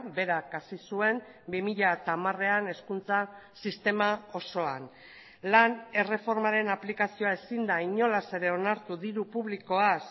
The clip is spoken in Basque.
berak hasi zuen bi mila hamarean hezkuntza sistema osoan lan erreformaren aplikazioa ezin da inolaz ere onartu diru publikoaz